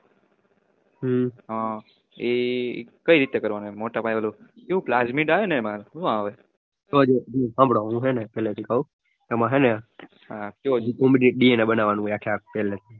હમ્મ હાંભળો હું પેલે થઇ કવ એમાં હેને DNA બનવાનું હોય આખે આખું